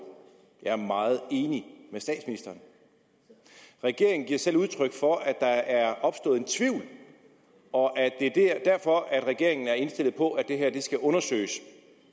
jeg er meget enig med statsministeren regeringen giver selv udtryk for at der er opstået en tvivl og at det er derfor at regeringen er indstillet på at det her skal undersøges